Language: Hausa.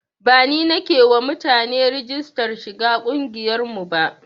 Ba ni nake yi wa mutane rigistar shiga ƙungiyar mu ba